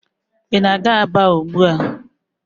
Ị na-aga Aba ugbua?